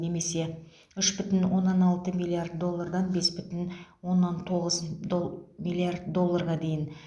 немесе үш бүтін оннан алты миллиард доллардан бес бүтін оннан тоғыз дол миллиард долларға дейін